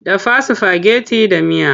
Dafa sifageti da miya!